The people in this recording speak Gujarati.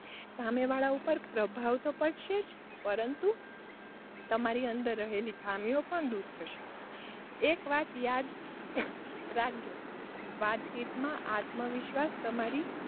સામેવાળા ઉપર પ્રભાવ તો પડશે પરંતુ, તમારાં અંદર રહેલી ખામીઓ પણ દૂર થશે એક વાત યાદ રાખજો વાતચીતમાં આત્મવિશ્વાસ તમારી,